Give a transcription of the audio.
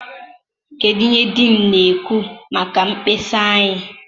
kedụ ihe dean na-ekwu maka mkpesa anyị?